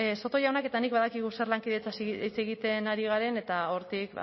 soto jaunak eta nik badakigu zer lankidetzaz hitz egiten ari garen eta hortik